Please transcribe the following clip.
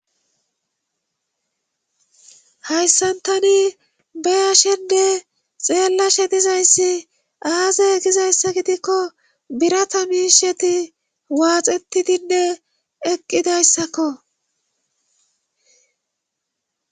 Hayssan tani be ashenne xeellashedizayssi aaze egizayssa gidikko birata miisheti waaxetidinne eqqidayssakko